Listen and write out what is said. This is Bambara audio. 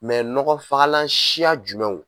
nɔgɔnfagalan siya jumɛnw